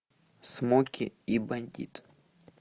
смоки и бандит